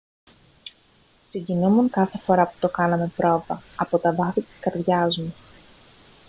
συγκινούμουν κάθε φορά που το κάναμε πρόβα από τα βάθη της καρδιάς μου